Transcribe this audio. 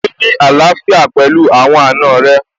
Gbé ní àlàfíà pẹ̀lú àwọn àna rẹ̀